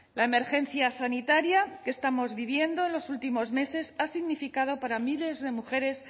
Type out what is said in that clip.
la emergencia sanitaria que estamos viviendo en los últimos meses ha significado para miles de mujeres